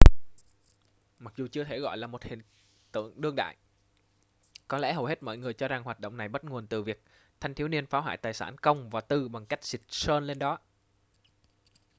mặc dù chưa thể gọi là một hiện tượng đương đại có lẽ hầu hết mọi người cho rằng hoạt động này bắt nguồn từ việc thanh thiếu niên phá hoại tài sản công và tư bằng cách xịt sơn lên đó